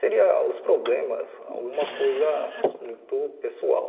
Seria os problemas alguma coisa muito pessoal.